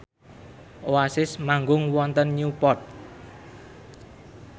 Oasis manggung wonten Newport